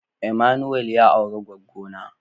" Emmanuel " ya aure gwaggo na.